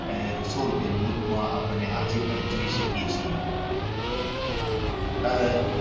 આહ એને સો રૂપિયાની નોટમાં આજે પણ જોઈ શકીએ છીએ. આહ